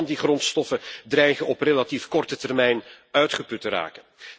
Veel van die grondstoffen dreigen op relatief korte termijn uitgeput te raken.